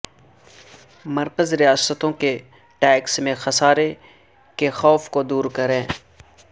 مرکز ریاستوں کے ٹیکس میں خسارے کے خوف کو دور کرے